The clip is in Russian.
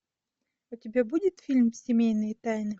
у тебя будет фильм семейные тайны